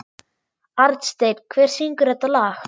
Arnsteinn, hver syngur þetta lag?